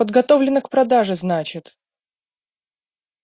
подготовлено к продаже значит